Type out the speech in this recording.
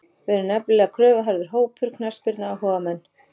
Við erum nefnilega kröfuharður hópur, knattspyrnuáhugamenn.